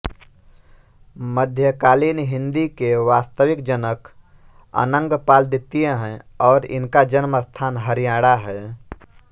मध्यकालीन हिंदी के वास्तविक जनक अनंगपाल द्वितीय हैं और इसका जन्मस्थान हरियाणा है